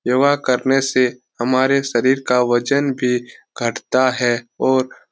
योगा करने से हमारे शरीर का वजन भी घटता है और --